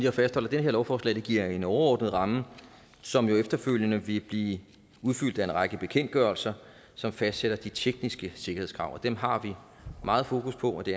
at fastholde at det her lovforslag giver en overordnet ramme som jo efterfølgende vil blive udfyldt af en række bekendtgørelser som fastsætter de tekniske sikkerhedskrav dem har vi meget fokus på og det